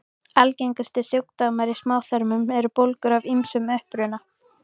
Algengustu sjúkdómar í smáþörmum eru bólgur af ýmsum uppruna.